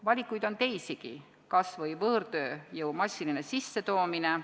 Valikuid on teisigi, kas või võõrtööjõu massiline sissetoomine.